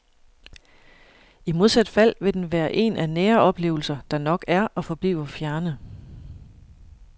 I modsat fald vil den være en af nære oplevelser, der nok er og forbliver fjerne.